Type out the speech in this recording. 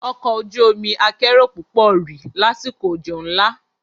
Ọkọ̀ ojú omi akérò púpọ̀ rì lásìkò òjò ńlá.